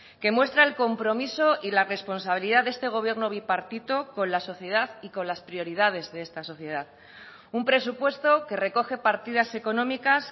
que muestra el compromiso y la responsabilidad de este gobierno bipartito con la sociedad y con las prioridades de esta sociedad un presupuesto que recoge partidas económicas